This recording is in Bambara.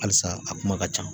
Alisa a kuma ka ca